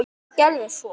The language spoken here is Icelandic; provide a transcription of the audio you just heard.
Hvað gerðist svo!?